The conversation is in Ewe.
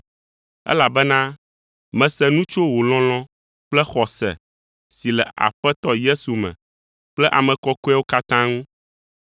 elabena mese nu tso wò lɔlɔ̃ kple xɔse si le Aƒetɔ Yesu me kple ame kɔkɔeawo katã ŋu.